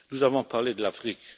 Nous avons parlé de l'Afrique.